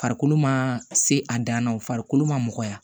Farikolo ma se a dan na farikolo ma nɔgɔya